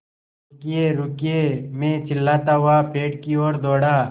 रुकिएरुकिए मैं चिल्लाता हुआ पेड़ की ओर दौड़ा